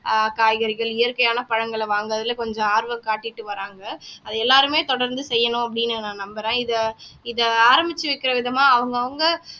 ஆஹ் காய்கறிகள் இயற்கையான பழங்களை வாங்குறதுல கொஞ்சம் ஆர்வம் காட்டிட்டு வர்றாங்க அது எல்லாருமே தொடர்ந்து செய்யணும் அப்படின்னு நான் நம்புறேன் இத இத ஆரம்பிச்சு வைக்கிற விதமா அவங்கவங்க